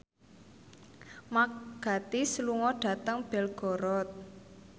Mark Gatiss lunga dhateng Belgorod